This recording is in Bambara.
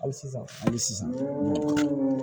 Hali sisan hali sisan